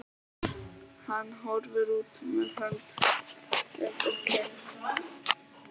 Hann horfir út með hönd undir kinn.